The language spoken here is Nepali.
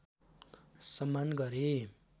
सम्मान गरे